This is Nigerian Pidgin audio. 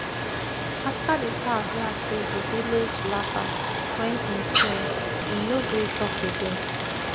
afta di crow hear say di village laff am wen im sing im no gree talk again